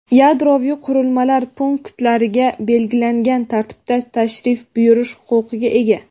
yadroviy qurilmalar punktlariga belgilangan tartibda tashrif buyurish huquqiga ega.